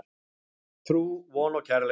Trú, von og kærleikur.